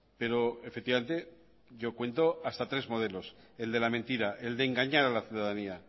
pero efectivamente yo cuento hasta tres modelos el de la mentira el de engañar a la ciudadanía